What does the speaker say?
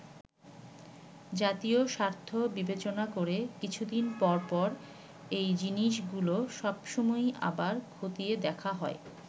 জাতীয় স্বার্থ বিবেচনা করে কিছু দিন পর পর এই জিনিসগুলো সব সময়ই আবার খতিয়ে দেখা হয়।